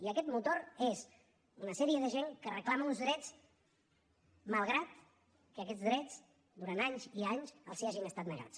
i aquest motor és una sèrie de gent que reclama uns drets malgrat que aquests drets durant anys i anys els hagin estat negats